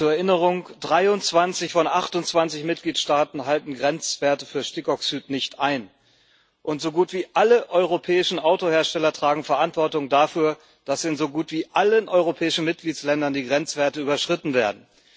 Zur Erinnerung 23 von 28 Mitgliedstaaten halten Grenzwerte für Stickoxid nicht ein, und so gut wie alle europäischen Autohersteller tragen Verantwortung dafür, dass in so gut wie allen europäischen Mitgliedsländern die Grenzwerte überschritten werden.